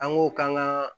An k'o k'an ka